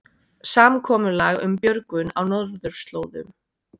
Samkomulag um björgun á norðurslóðum